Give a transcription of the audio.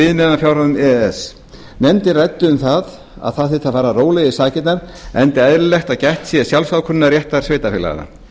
viðmiðunarfjárhæðum e e s nefndin ræddi um að það að fara þyrfti rólega í sakirnar enda eðlilegt að gætt sé sjálfsákvörðunarréttar sveitarfélaga